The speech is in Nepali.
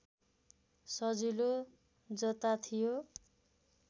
सजिलो जता थियो